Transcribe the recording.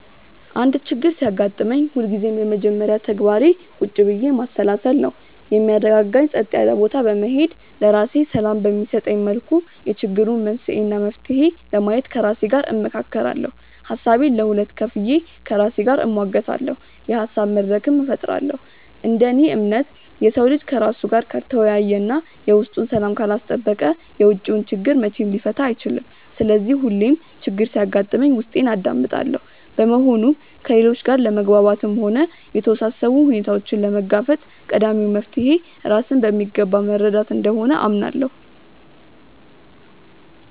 አንድ ችግር ሲያጋጥመኝ ሁልጊዜም የመጀመሪያ ተግባሬ ቁጭ ብዬ ማሰላሰል ነው። የሚያረጋጋኝ ጸጥ ያለ ቦታ በመሄድ፣ ለራሴ ሰላም በሚሰጠኝ መልኩ የችግሩን መንስኤ እና መፍትሄ ለማየት ከራሴ ጋር እመካከራለሁ። ሀሳቤን ለሁለት ከፍዬ ከራሴ ጋር እሟገታለሁ፤ የሀሳብ መድረክም እፈጥራለሁ። እንደ እኔ እምነት፣ የሰው ልጅ ከራሱ ጋር ካልተወያየ እና የውስጡን ሰላም ካላስጠበቀ የውጪውን ችግር መቼም ሊፈታ አይችልም። ስለዚህ ሁሌም ችግር ሲያጋጥመኝ ውስጤን አዳምጣለሁ። በመሆኑም ከሌሎች ጋር ለመግባባትም ሆነ የተወሳሰቡ ሁኔታዎችን ለመጋፈጥ ቀዳሚው መፍትሔ ራስን በሚገባ መረዳት እንደሆነ አምናለሁ።